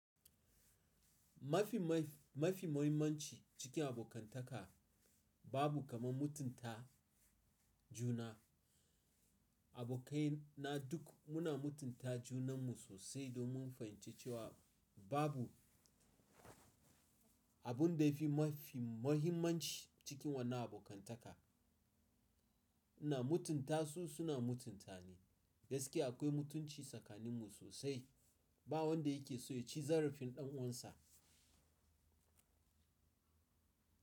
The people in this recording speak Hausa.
Mafi mafi, mafi muhimmanci cikin abokantaka babu kamar mutunta juna. Abokai na duk muna mutunta junanmu sosai domin mun fahimci cewa babu abun da ya fi mafi muhimmanci cikin wannan abokantaka. Ina mutunta su, suna mutunta ni. Gaskiya akwai mutunci tsakaninmu sosai. Ba wanda yake so ya ci zarafin ɗan uwansa.